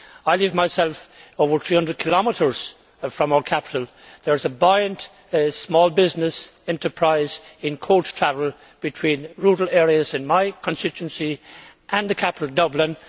I live myself over 300 kilometres from our capital. There is a buoyant small business enterprise in coach travel between rural areas in my constituency and the capital, Dublin.